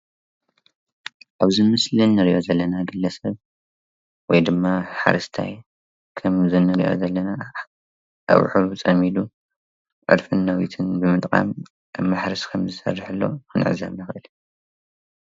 አብዚ ምስሊ እንርአዮ ዘለና ግለ ሰብ ወይ ድማ ሓረስታይ ከምዚ ንርእዮ ዘለና አብዑር ፀሚዱ ዐርፊን ነዊትን ብምጥቃም አብ ማሕረስ ከምዝሰርሕ ሎ ክንዕዘብ ንክእል።